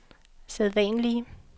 sædvanlige